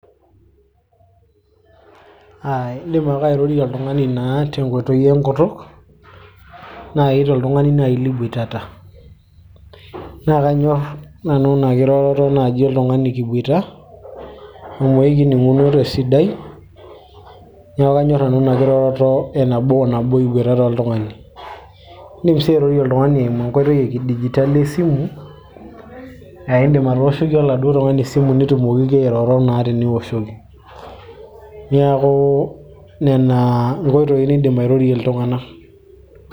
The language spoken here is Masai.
uh, indim ake airorie oltung'ani naa tenkoitoi enkutuk naaji toltung'ani naaji liboitata naa kanyorr nanu ina kiroroto naaji oltung'ani kiboita amu ekining'uno tesidai niaku kanyorr nanu ina kiroroto e nabo o nabo iboitata oltung'ani indim sii airorie oltung'ani eimu enkoitoi e kidijitali esimu aa indim atooshoki oladuo tung'ani esimu nitumokiki airoro naa teniwoshoki niaku nena inkoitoi nindim airorie iltung'anak.